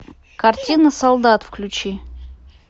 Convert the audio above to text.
картина солдат включи